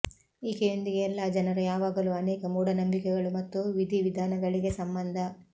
ಈಕೆಯೊಂದಿಗೆ ಎಲ್ಲಾ ಜನರ ಯಾವಾಗಲೂ ಅನೇಕ ಮೂಢನಂಬಿಕೆಗಳು ಮತ್ತು ವಿಧಿವಿಧಾನಗಳಿಗೆ ಸಂಬಂಧ